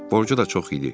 Borcu da çox idi.